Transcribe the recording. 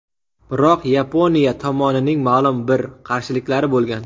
Biroq Yaponiya tomonining ma’lum bir qarshiliklari bo‘lgan.